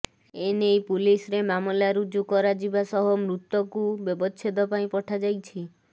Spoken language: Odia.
ଏନେଇ ପୁଲିସରେ ମାମଲା ରୁଜୁ କରାଯିବା ସହ ମୃତକୁ ବ୍ୟବଛେଦ ପାଇଁ ପଠାଯାଇଛି